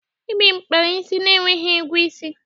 Ibim kpara isi na-enweghị ugwu isi.